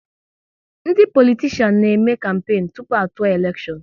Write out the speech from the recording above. Ndị politishan na eme kampenu tụpụ a tụọ elekshon